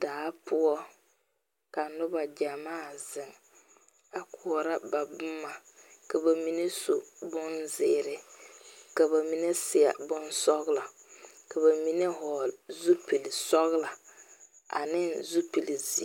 Daa pou ka nuba jamaa zeng a kuuro ba buma ka ba mene su bunziiri ka ba mene seɛ bunsɔglɔ ka ba mene vɔgle zupili sɔglo ane zupili ziiri.